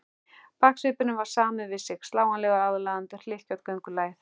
Baksvipurinn var samur við sig, slánalega aðlaðandi, og hlykkjótt göngulagið.